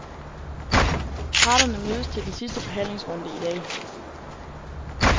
Parterne mødes til den sidste forhandlingsrunde i dag.